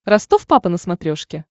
ростов папа на смотрешке